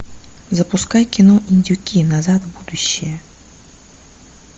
запускай кино индюки назад в будущее